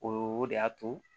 O de y'a to